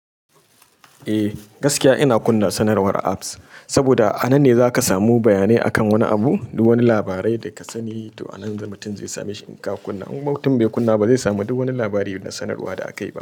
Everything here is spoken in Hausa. Eh gaskiya ina kunna sanarwar apps, saboda a nan ne zaka samu bayanai akan wani abu, duk wani labarai da ka sani, to a nan za mutin zai same shi in ka kunna. In mutum bai kunna ba zai samu duk wani labari da sanarwa da akayi ba.